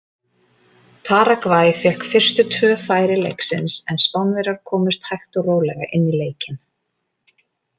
Paragvæ fékk fyrstu tvö færi leiksins en Spánverjar komust hægt og rólega í leikinn.